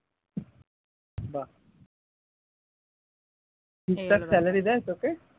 বাহ ঠিক ঠাক salary দেয় তোকে?